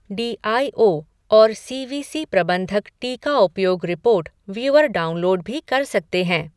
D I O और C V C प्रबंधक टीका उपयोग रिपोर्ट व्यूअर डाउनलोड भी कर सकते हैं।